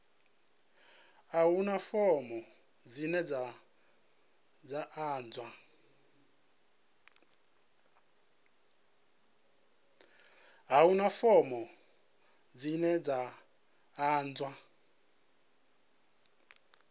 a huna fomo dzine dza ḓadzwa